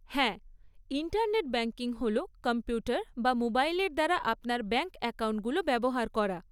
হ্যাঁ, internet banking হল computer বা মোবাইলের দ্বারা আপনার ব্যাংক অ্যাকাউন্টগুলো ব্যবহার করা।